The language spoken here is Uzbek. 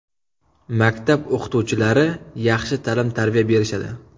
Maktab o‘qituvchilari yaxshi ta’lim-tarbiya berishadi.